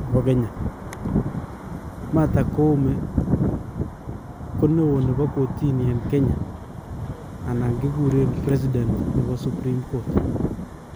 nepo Kenya. Martha Koome ko newo nebo kotini en Kenya ana kekuren president nepo supreme court.